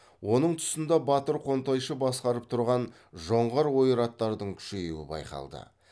оның тұсында батыр қонтайшы басқарып тұрған жоңғар ойраттардың күшеюі байқалды